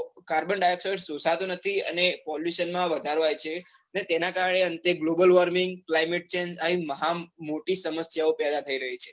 carbon, dioxide શોષાતો નથી. અને pollution માં વધારો આવ્યો છે અને તેના કારણે અંતે globalwarming, climate change આવી મહાન મોટી સમસ્યાઓ પેદા થઇ ગયી છે,